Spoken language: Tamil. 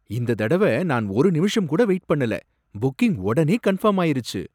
இந்த தடவ நான் ஒரு நிமிஷம் கூட வெயிட் பண்ணல. புக்கிங் உடனே கன்ஃபர்ம் ஆயிருச்சு.